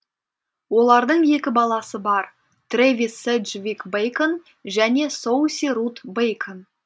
олардың екі баласы бар трэвис седжвик бэйкон және соуси рут бэйкон